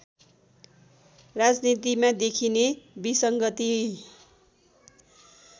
राजनीतिमा देखिने विसङ्गति